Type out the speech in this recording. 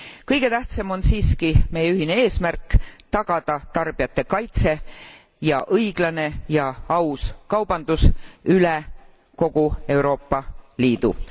Kõige tähtsam on siiski meie ühine eesmärk tagada tarbijate kaitse ja õiglane ja aus kaubandus üle kogu Euroopa Liidu.